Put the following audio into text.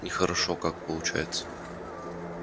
нехорошо как получается